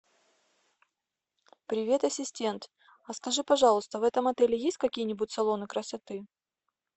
привет ассистент а скажи пожалуйста в этом отеле есть какие нибудь салоны красоты